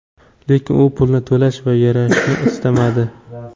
Lekin u pulni to‘lash va yarashishni istamadi.